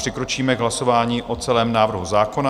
Přikročíme k hlasování o celém návrhu zákona.